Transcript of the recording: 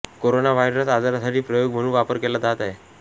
coronavirus आजारासाठी प्रयोग म्हणून वापर केला जात आहे